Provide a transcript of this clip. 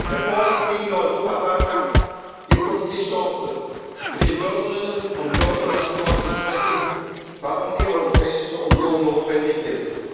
gehen. Der vor uns liegende Europawahlkampf gibt uns die Chance, mit den Bürgerinnen und Bürgern darüber zu sprechen, warum die Europäische Union notwendig